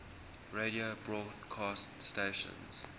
radio broadcast stations